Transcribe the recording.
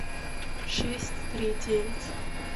шесть три девять